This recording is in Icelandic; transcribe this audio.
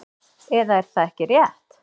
Eða er það ekki rétt?